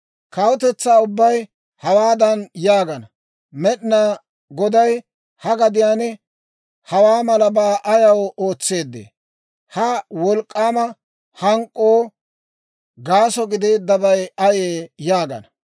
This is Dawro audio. Kawutetsaa ubbay hawaadan yaagana; ‹Med'inaa Goday ha gadiyaan hawaa malabaa ayaw ootseedee? Ha wolk'k'aama hank'k'uwoo gaaso gideeddabay ayee?› yaagana.